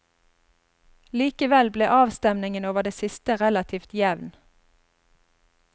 Likevel ble avstemningen over det siste relativt jevn.